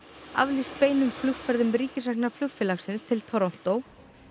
aflýst beinum flugferðum ríkisrekna flugfélagsins til Toronto